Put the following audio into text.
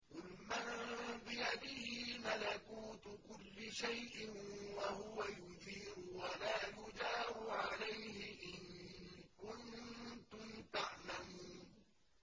قُلْ مَن بِيَدِهِ مَلَكُوتُ كُلِّ شَيْءٍ وَهُوَ يُجِيرُ وَلَا يُجَارُ عَلَيْهِ إِن كُنتُمْ تَعْلَمُونَ